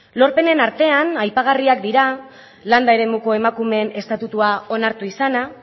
lorpenen artean aipagarriak dira landa eremuko emakumeen estatutua onartu izana